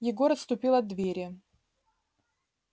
егор отступил от двери